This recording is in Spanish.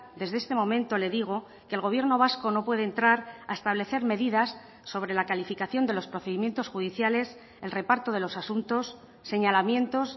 desde este momento le digo que el gobierno vasco no puede entrar a establecer medidas sobre la calificación de los procedimientos judiciales el reparto de los asuntos señalamientos